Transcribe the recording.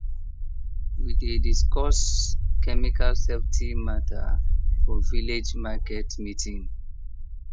we dey discuss chemical safety matter for village market meeting